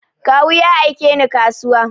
Kawu ya aike ni kasuwa.